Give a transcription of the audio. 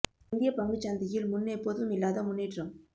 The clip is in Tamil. இந்தியப் பங்குச் சந்தையில் முன்னெப்போதும் இல்லாத முன்னேற்றம்